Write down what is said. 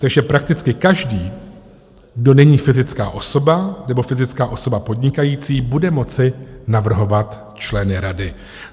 Takže prakticky každý, kdo není fyzická osoba nebo fyzická osoba podnikající bude moci navrhovat členy rady.